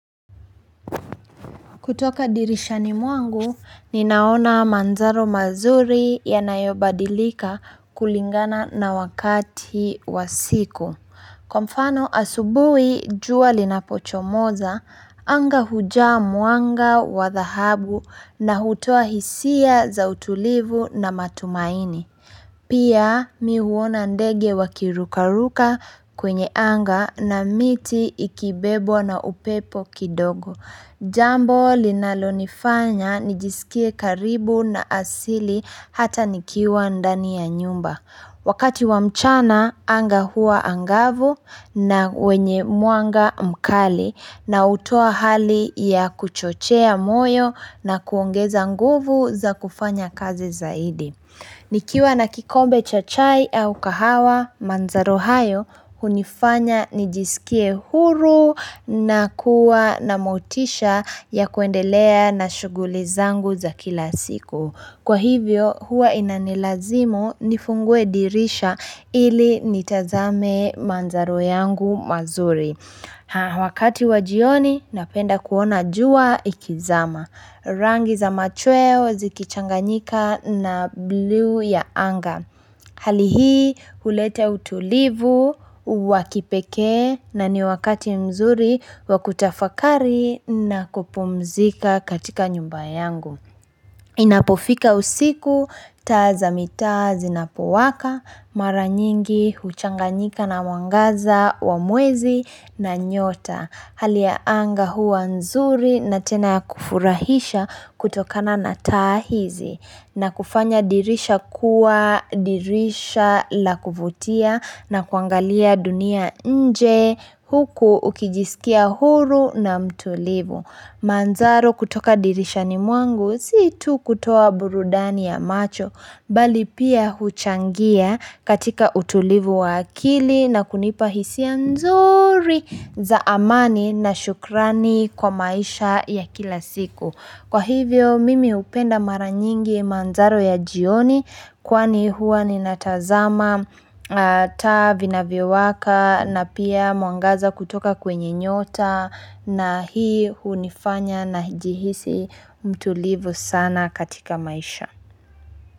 Kutoka dirishani mwangu, ninaona mandhari mazuri yanayo badilika kulingana na wakati wa siku. Kwa mfano asubuhi jua linapochomoza, anga hujaa mwanga wa dhahabu na hutoa hisia za utulivu na matumaini. Pia mi huona ndege wakirukaruka kwenye anga na miti ikibebwa na upepo kidogo. Jambo linalo nifanya nijisikie karibu na asili hata nikiwa ndani ya nyumba. Wakati wa mchana anga hua angavu na wenye mwanga mkali na utoa hali ya kuchochea moyo na kuongeza nguvu za kufanya kazi zaidi. Nikiwa na kikombe cha chai au kahawa mandhari hayo, hunifanya nijisikie huru na kuwa na motisha ya kuendelea na shuguli zangu za kila siku. Kwa hivyo, huwa inanilazimu nifungue dirisha ili nitazame mandhari yangu mazuri. Haa wakati wa jioni napenda kuona jua likizama. Rangi za machweo zikichanganyika na bluu ya anga. Hali hii hulete utulivu wa kipekee na ni wakati mzuri wakutafakari na kupumzika katika nyumba yangu. Inapofika usiku, taa za mitaa zinapowaka, mara nyingi, huchanganyika na mwangaza, wa mwezi na nyota. Hali ya anga huwa nzuri na tena ya kufurahisha kutokana na taa hizi. Na kufanya dirisha kuwa, dirisha la kuvutia na kuangalia dunia nje huku ukijisikia huru na mtulivu. Mandhari kutoka dirishani mwangu si tu kutoa burudani ya macho bali pia huchangia katika utulivu wa akili na kunipa hisia nzuri za amani na shukrani kwa maisha ya kila siku. Kwa hivyo mimi upenda mara nyingi mandhari ya jioni kwani huwa nina tazama taa zinayvo waka na pia mwangaza kutoka kwenye nyota na hii hunifanya na hijihisi mtulivu sana katika maisha.